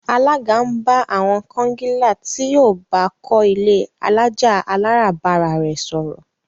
Alága ń bá àwon kongilá tí yíó baa kó ilé alájà-aláràbarà re sòrò.